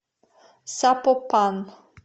сапопан